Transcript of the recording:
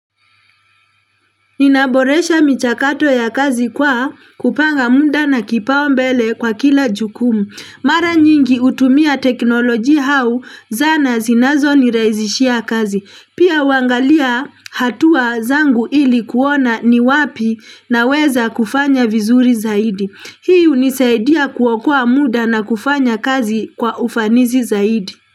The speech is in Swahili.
Ninaboresha michakato ya kazi kwa kupanga muda na kipao mbele kwa kila jukumu. Mara nyingi hutumia teknolojia au zana zinazo niraizishia kazi. Pia uangalia hatua zangu ili kuona ni wapi na weza kufanya vizuri zaidi. Hii unisaidia kuokoa muda na kufanya kazi kwa ufanisi zaidi.